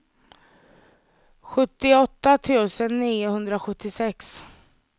sjuttioåtta tusen niohundrasjuttiosex